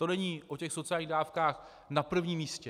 To není o těch sociálních dávkách na prvním místě.